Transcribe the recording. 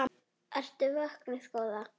Ertu vöknuð góða?